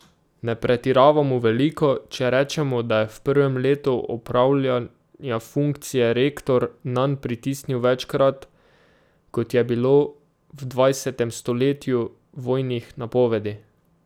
Ne pretiravamo veliko, če rečemo, da je v prvem letu opravljanja funkcije rektor nanj pritisnil večkrat, kot je bilo v dvajsetem stoletju vojnih napovedi.